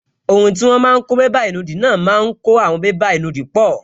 Ohun tí wọ́n máa n kó bébà ìnùdí náà máa kó àwọn bébà ìnùdí pọ̀